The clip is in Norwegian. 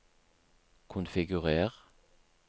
konfigurer